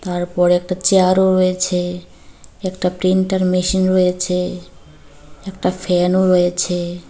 তারপরে একটা চেয়ারও রয়েছে একটা প্রিন্টার মেশিন রয়েছে একটা ফ্যানও রয়েছে।